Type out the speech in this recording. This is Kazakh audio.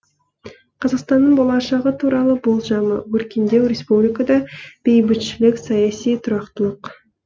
қазақстанның болашағы туралы болжамы өркендеу республикада бейбітшілік саяси тұрақтылық